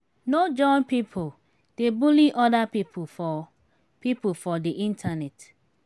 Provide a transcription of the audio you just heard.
no join pipo dey bully oda pipo for pipo for di internet